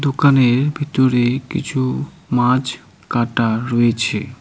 দোকানের ভিতরে কিছু মাছ কাটা রয়েছে।